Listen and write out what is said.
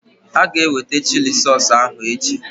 Aga eweta chili sausụ ahụ echi